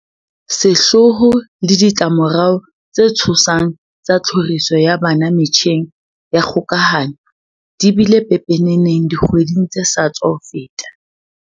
Sehloho le ditlamo rao tse tshosang tsa tlhoriso ya bana metjheng ya kgokahano di bile pepeneneng dikgwedi ng tse sa tswa feta.